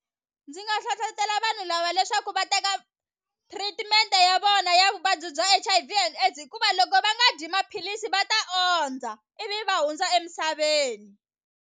Ndzi nga hlohlotela vanhu lava leswaku va teka treatment ya vona ya vuvabyi bya H_I_V and AIDS hikuva loko va nga dyi maphilisi va ta ondza ivi va hundza emisaveni.